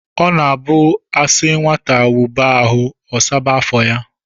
ọ na-abụ a sị nwata wụba ahụ, ọ saba afọ ya